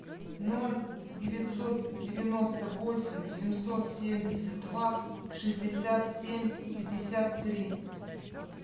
ноль девятьсот девяносто восемь семьсот семьдесят два шестьдесят семь пятьдесят три